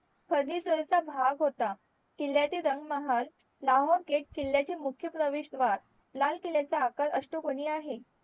भाग होता किल्ल्यातील रंगमहाल लाहोर gate किल्ल्याचे मुख्य प्रवेशद्वार लाल किल्ल्याचा आकार असतो कोणी आहे